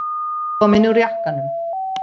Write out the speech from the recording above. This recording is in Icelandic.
Komin úr jakkanum.